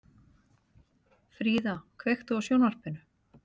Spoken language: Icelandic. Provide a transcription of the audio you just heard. Fríða, kveiktu á sjónvarpinu.